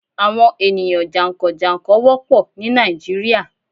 Àwọn ènìyàn jà ń kàn - jà n kàn wópọ̀ ní Nàìjíríà